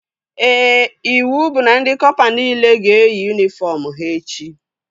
Ee, iwu bụ na ndị kọpa nile ga-eyi yunifọm ha echi